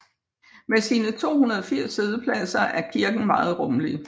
Med sine 280 siddepladser er kirken meget rummelig